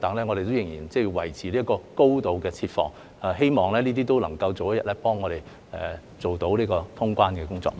我們仍然要維持高度設防，希望這些都有助我們早日通關。